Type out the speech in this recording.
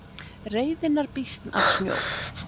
Reiðinnar býsn af snjó